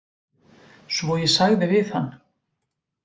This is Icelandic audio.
Svo ég sagði við hann